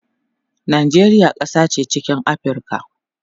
Najeriya kasa che chikin Aprica